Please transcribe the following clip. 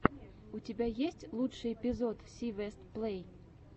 у тебя есть лучший эпизод си вест плей